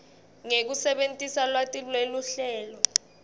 ngekusebentisa lwati lweluhlelo